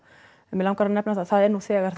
en mig langar að nefna það að það eru nú þegar